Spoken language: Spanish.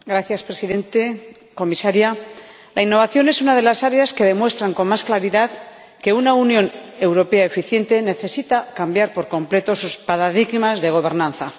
Señor Presidente, señora Comisaria, la innovación es una de las áreas que demuestran con más claridad que una Unión Europea eficiente necesita cambiar por completo sus paradigmas de gobernanza.